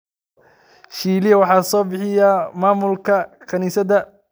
Sheila waxa sobixiyey mamulaha kanisadhaa.